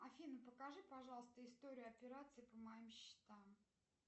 афина покажи пожалуйста историю операций по моим счетам